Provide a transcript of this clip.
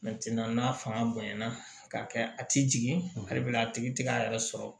n'a fanga bonyana k'a kɛ a ti jigin a bɛna a tigi ti k'a yɛrɛ sɔrɔ